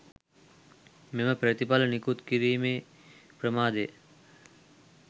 මෙම ප්‍රතිඵල නිකුත්කිරීමේ ප්‍රමාදය